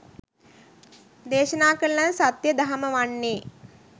දේශනා කරන ලද සත්‍ය දහම වන්නේ.